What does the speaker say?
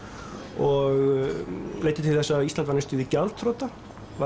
og leiddi til þess að Ísland varð næstum því gjaldþrota